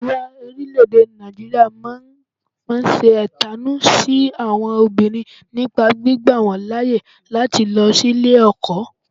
Àríwá orílẹ̀-èdè Nàìjíríà máa ń ṣe ẹ̀tanú sí àwọn obìnrin nípa gbígba wọ́n láyè láti má lọ sí ilé ẹ̀kọ́